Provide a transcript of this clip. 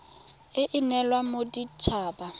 e e neelwang modit haba